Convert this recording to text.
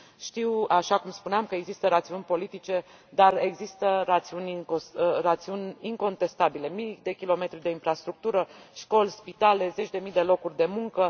Știu, așa cum spuneam, că există rațiuni politice, dar există rațiuni incontestabile mii de kilometri de infrastructură, școli, spitale, zeci de mii de locuri de muncă.